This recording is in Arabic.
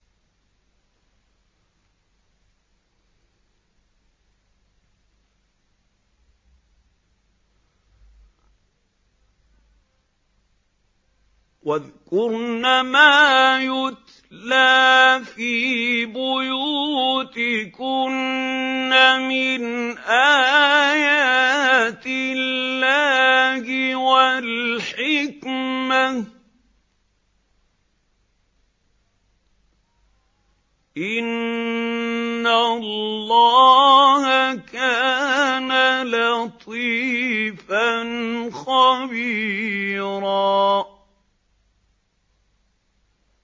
وَاذْكُرْنَ مَا يُتْلَىٰ فِي بُيُوتِكُنَّ مِنْ آيَاتِ اللَّهِ وَالْحِكْمَةِ ۚ إِنَّ اللَّهَ كَانَ لَطِيفًا خَبِيرًا